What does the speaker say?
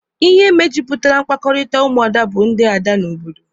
Ihe mejupụtara mkpakọrịta ụmụada bụ ndị ada n'obodo.